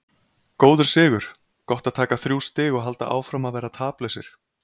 Góður sigur, gott að taka þrjú stig og halda áfram að vera taplausir.